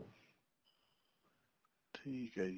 ਠੀਕ ਹੈ ਜੀ